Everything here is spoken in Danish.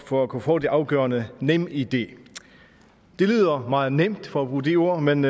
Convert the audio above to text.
for at kunne få det afgørende nemid det lyder meget nemt for at bruge det ord men